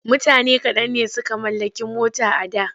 Mutane kaɗan ne suka mallaki mota a da.